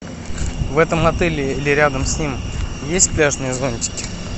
в этом отеле или рядом с ним есть пляжные зонтики